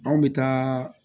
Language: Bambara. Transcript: Anw bɛ taa